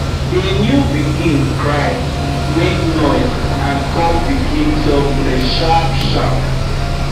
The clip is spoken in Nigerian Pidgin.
the new pikin cry nake noise and come begin suck breast sharp sharp